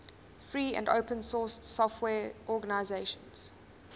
free and open source software organizations